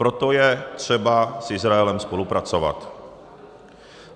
Proto je třeba s Izraelem spolupracovat.